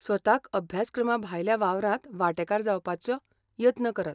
स्वताक अभ्यासक्रमाभायल्या वावरांत वांटेकार जावपाचो यत्न करात.